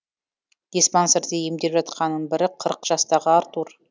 диспансерде емделіп жатқанның бірі қырық жастағы артур